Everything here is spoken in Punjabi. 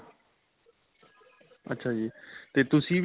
ਅੱਛਾ ਜੀ ਤੇ ਤੁਸੀਂ